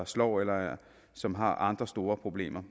slår eller som har andre store problemer